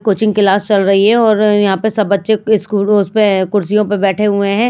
Coaching class चल रही है और यहाँ पर सब बच्चे स्कूल उस पे कुर्सियों पर बैठे हुए हैं।